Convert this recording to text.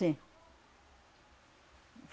Sim.